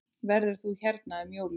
Verður þú hérna um jólin?